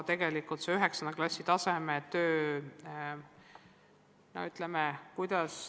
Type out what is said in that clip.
Kuidas see 9. klassi tasemetöö tegelikult hakkab olema?